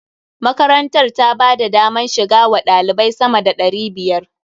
Makarantar ta ba da daman shiga wa ɗalibai sama da ɗari biyar.